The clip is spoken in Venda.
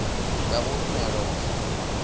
ya u rumelwa u shuma